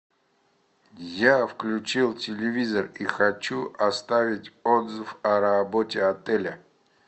я включил телевизор и хочу оставить отзыв о работе отеля